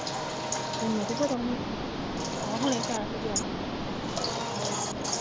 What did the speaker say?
ਆਹ ਹੁਣੇ ਕਹਿ ਕੇ ਗਿਆ ਸੀ,